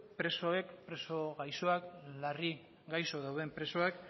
larri gaixo dauden presoak